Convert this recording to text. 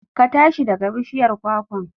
Ka tashi daga bishiyar kwakwan!